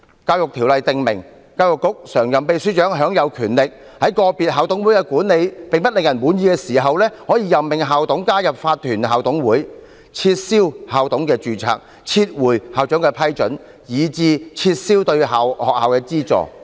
《教育條例》訂明，教育局常任秘書長享有權力，在個別校董會的管理並不令人滿意時，可任命校董加入法團校董會、取消校董的註冊、撤回對校長的批准，以至撤銷對學校的資助。